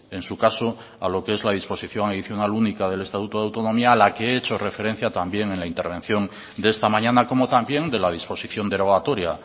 en su caso a lo que es la disposición adicional única del estatuto de autonomía a la que he hecho referencia también en la intervención de esta mañana como también de la disposición derogatoria